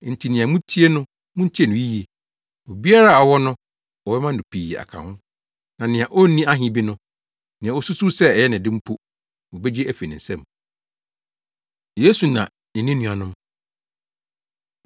Enti nea mutie no, muntie no yiye. Obiara a ɔwɔ no wɔbɛma no pii aka ho, na nea onni ahe bi no, nea osusuw sɛ ɛyɛ ne de no mpo, wobegye afi ne nsam.” Yesu Na Ne Ne Nuanom